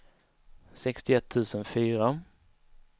sextioett tusen fyra